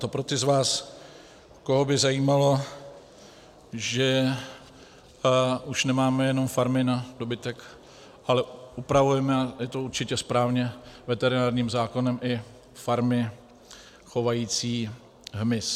To pro ty z vás, koho by zajímalo, že už nemáme jenom farmy na dobytek, ale upravujeme, a je to určitě správně, veterinárním zákonem i farmy chovající hmyz.